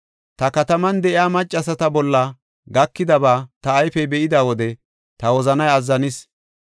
Ta kataman de7iya maccasata bolla gakidaba ta ayfey be7ida wode ta wozanay azzanis.